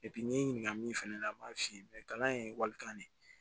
n ye n ɲininka min fana la n b'a f'i ye kalan ye walikan de ye